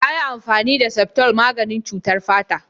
Yayi amfani da septol maganin cutar fata.